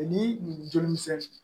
Ni joli misɛnnin